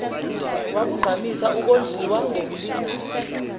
wakugqamisa ukondliwa ngokulingana